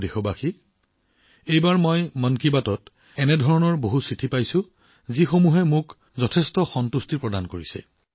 মোৰ প্ৰিয় দেশবাসী এইবাৰ মন কী বাতত মইও এনেধৰণৰ বৃহৎ সংখ্যক চিঠি পাইছো যি মনটোক বহুত সন্তুষ্টি দিয়ে